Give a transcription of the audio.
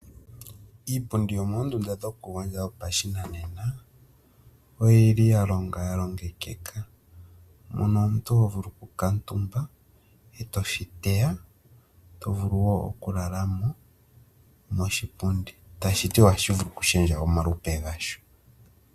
Iipundi yomoondunda dhokugondja dhopashinanena oyi li ya longwa ya longekeka, mono omuntu ho vulu okukuutumba e to shi teya to vulu wo okulala mo moshipundi, tashi ti ohashi vulu okushendja omalupe gasho.